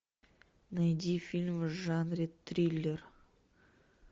найди фильм в жанре триллер